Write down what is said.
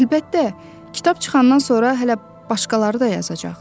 Əlbəttə, kitab çıxandan sonra hələ başqaları da yazacaq.